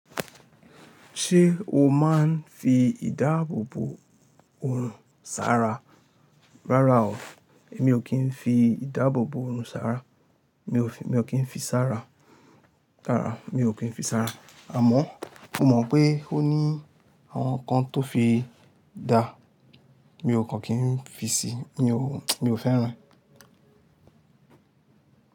Ṣé o máa ń fi ìdáàbò bò oòrùn sára? Rárá o, èmi ò kí ń fi ìdáàbò bò oòrùn sára. Mi ò kí ń fi sára. Rárá, mi ò kí ń fi sára. Àmọ́ mo mọ̀ pé ó ní àwọn nǹkan tó fi dá, mi ò kàn kí ń fi si, mi ò fẹ́ràn.